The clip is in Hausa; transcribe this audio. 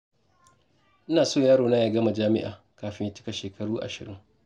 Ina so yarona ya gama jami'a kafin ya cika shekaru ashirin.